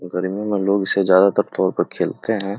गर्मी में लोग इसे ज्यादातर तौर पे खेलते है।